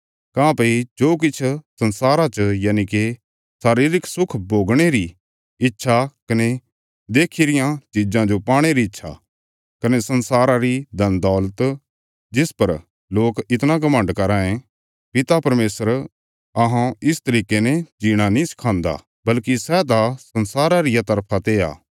काँह्भई जो किछ संसारा चा यनिके शारीरिक सुख भोगणे री इच्छा कने देक्खी रियां चिज़ां जो पाणे री इच्छा कने संसारा री धनदौलत जिस पर लोक इतणा घमण्ड कराँ ये पिता परमेशर अहौं इस तरिके ने जीणा नीं सिखान्दा बल्कि सै त संसारा रिया तरफा ते आ